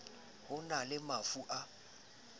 ho na le mafu a